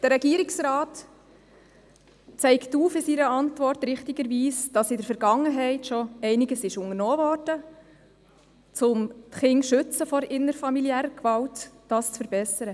Der Regierungsrat zeigt in seiner Antwort richtigerweise auf, dass in der Vergangenheit schon einiges unternommen wurde, um Kinder vor innerfamiliärer Gewalt zu schützen, um das zu verbessern.